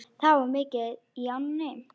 Það var mikið í ánni.